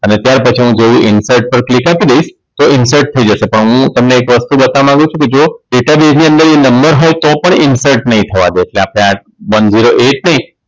અને ત્યાર પછી હું જેવું Infert પર Click આપી દઈશ તો Infert થઈ જશે પણ હું તમને એક વસ્તુ બતાવા માંગુ છું કે જો Data Baez ની અંદર એ નંબર હોય તો પણ Infert નઈ થવા દવ ત્યાં one zero Eight થી